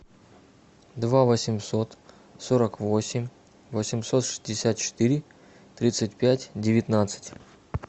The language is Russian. два восемьсот сорок восемь восемьсот шестьдесят четыре тридцать пять девятнадцать